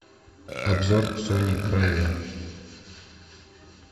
обзор сони бравиа